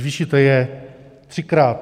Zvýšíte je třikrát.